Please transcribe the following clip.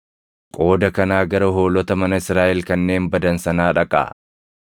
Qooda kanaa gara hoolota mana Israaʼel kanneen badan sanaa dhaqaa.